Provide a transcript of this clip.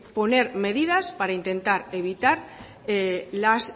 poner medidas para intentar evitar los